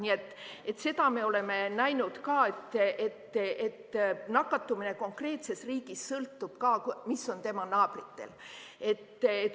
Nii et seda me oleme ka näinud, et nakatumine konkreetses riigis sõltub sellest, mis on tema naabritel.